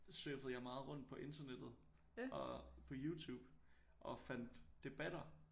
Surfede jeg meget rundt på internettet og på Youtube og fandt debatter